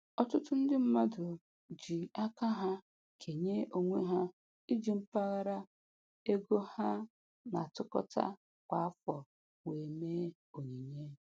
Ọtụtụ ndị mmadụ ji aka ha kenye onwe ha iji mpaghara ego ha na-atụkọta kwa afọ wee mee onyinye